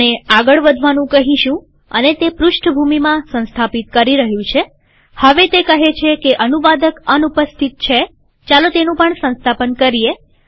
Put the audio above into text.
આપણે આગળ વધવાનું કહીશુંઅને તે પૃષ્ઠભૂમિમાં સંસ્થાપિત કરી રહ્યું છેહવે તે કહે છે કે અનુવાદક અનુપસ્થિત છેચાલો તેનું પણ સંસ્થાપન કરીએ